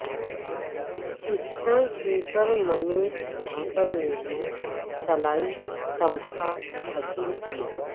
pistol shooter Manu Bhaker نے بھی طلائی تمغہ حاصل کیا